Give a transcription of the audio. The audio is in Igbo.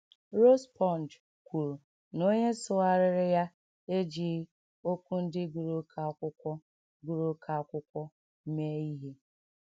Rospond kwuru na onye sụgharịrị ya ejighị “ okwu ndị gụrụ oké akwụkwọ gụrụ oké akwụkwọ ” mee ihe.